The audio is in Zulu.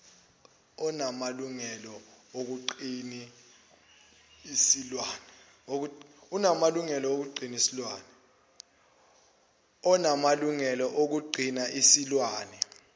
onamalungelo okugcina isilwane